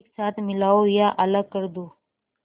एक साथ मिलाओ या अलग कर दो